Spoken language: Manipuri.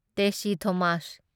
ꯇꯦꯁꯤ ꯊꯣꯃꯁ